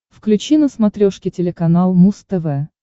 включи на смотрешке телеканал муз тв